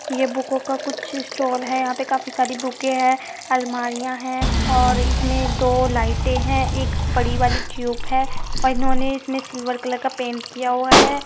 ये बुकों का कुछ स्टॉल है। यहाँ पे काफी सारी बुकें हैं। अलमारिया है और इस में दो लाइटे है। एक बड़ी वाली ट्यूब है और इन्होंने इसमें सिल्वर कलर का पेंट किया हुआ है।